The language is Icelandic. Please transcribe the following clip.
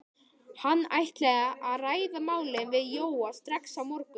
Hann ætlaði að ræða málin við Jóa strax á morgun.